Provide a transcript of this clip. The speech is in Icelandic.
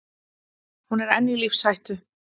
Hún er enn í lífshættu.